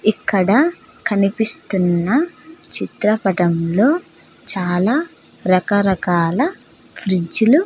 ఇక్కడ కనిపిస్తున్న చిత్రపటంలో చాలా రకరకాల ఫ్రిడ్జ్ లు --